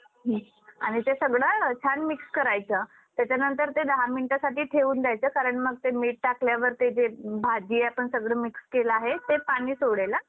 आणि ते सगळं छान mix करायचं. त्याच्यानंतर ते दहा मिनटासाठी ठेऊन द्यायचं कारण मग ते मीठ टाकल्यावर ते जे भाजी आपण सगळी mix केल आहे ते पाणी सोडेल ह